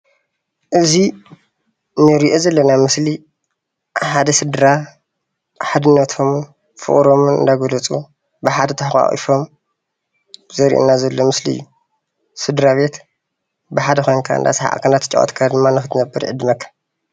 እዚ እንሪኦ ዘለና ምስሊ ሓደ ስድራ ሓድነቶምን ፍቅሮምን እንዳገለፁ ብሓደ ተሓቃቂፎ ዘርእየና ዘሎ ምስሊ እዩ፡፡ ስድራቤት ብሓደ ኮይንካ እንዳተጫወትካን እናሰሓቅካንንክትነብር ድማ ይዕድመካ፡፡